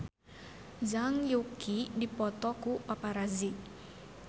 Zhang Yuqi dipoto ku paparazi